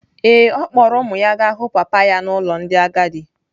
Ee, ọ kpọọrọ ụmụ ya gaa hụ papa ya n’ụlọ ndị agadi.